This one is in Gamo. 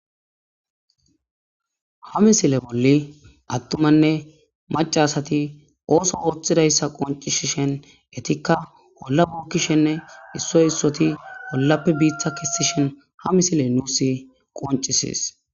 Ha misile bolli attumanne macasati ooso ooththidayssa qoncishishen etikka bolla buukkishenne issoy issoti bollappe biiththa kissishen ha misile nuus qoncisis.